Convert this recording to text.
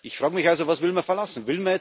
Ich frage mich also Was will man verlassen?